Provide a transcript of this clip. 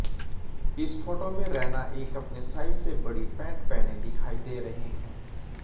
इस फोटो में रैना एक अपने साइज से बड़ी पेंट पहने दिखाई दे रहे हैं